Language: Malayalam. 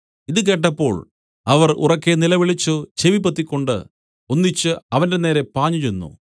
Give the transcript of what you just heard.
ഇത് കേട്ടപ്പോൾ അവർ ഉറക്കെ നിലവിളിച്ചു ചെവി പൊത്തിക്കൊണ്ട് ഒന്നിച്ച് അവന്റെനേരെ പാഞ്ഞുചെന്നു